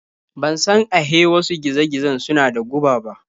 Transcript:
Ban san ahe wasu giza-gizan suna da guba ba.